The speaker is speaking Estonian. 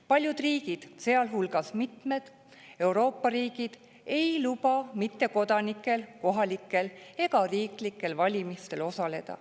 Paljud riigid, sealhulgas mitmed Euroopa riigid, ei luba mittekodanikel kohalikel ega valimistel osaleda.